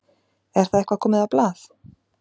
Er það eitthvað komið á blað?